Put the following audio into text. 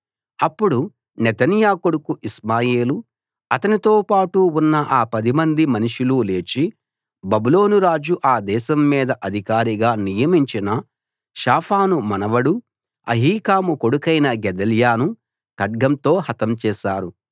అప్పుడు నెతన్యా కొడుకు ఇష్మాయేలు అతనితోపాటు ఉన్న ఆ పదిమంది మనుషులు లేచి బబులోను రాజు ఆ దేశం మీద అధికారిగా నియమించిన షాఫాను మనవడూ అహీకాము కొడుకైన గెదల్యాను ఖడ్గంతో హతం చేశారు